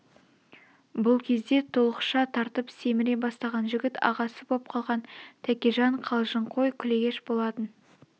бұл кезде толықша тартып семіре бастаған жігіт ағасы боп қалған тәкежан қалжыңқой күлегеш болатын